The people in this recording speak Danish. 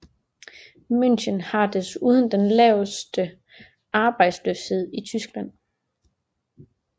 München har desuden den laveste arbejdsløshed i Tyskland